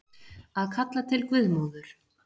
Að kalla til guðmóður